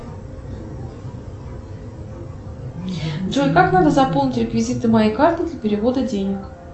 джой как надо заполнить реквизиты моей карты для перевода денег